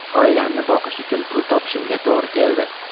Oilamni boqish uchun pul topishimga to‘g‘ri keldi.